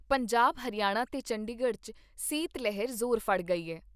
ਪੰਜਾਬ ਹਰਿਆਣਾ ਤੇ ਚੰਡੀਗੜ੍ਹ 'ਚ ਸੀਤ ਲਹਿਰ ਜ਼ੋਰ ਫੜ ਗਈ ਏ।